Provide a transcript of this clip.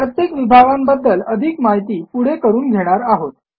प्रत्येक विभागांबद्दल अधिक माहिती पुढे करून घेणार आहोत